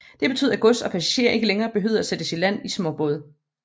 Det betød at gods og passagerer ikke længere behøvede at sættes i land med småbåde